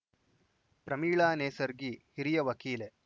ಪ್ರಮೀಳಾ ನೇಸರ್ಗಿ ಹಿರಿಯ ವಕೀಲೆ